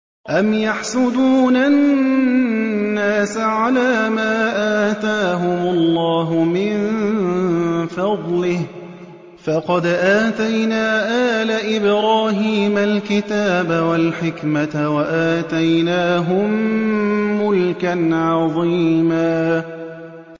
أَمْ يَحْسُدُونَ النَّاسَ عَلَىٰ مَا آتَاهُمُ اللَّهُ مِن فَضْلِهِ ۖ فَقَدْ آتَيْنَا آلَ إِبْرَاهِيمَ الْكِتَابَ وَالْحِكْمَةَ وَآتَيْنَاهُم مُّلْكًا عَظِيمًا